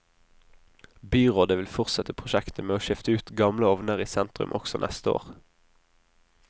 Byrådet vil fortsette prosjektet med å skifte ut gamle ovner i sentrum også neste år.